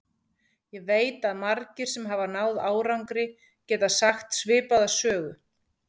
Ég veit að margir, sem náð hafa árangri, geta sagt svipaða sögu.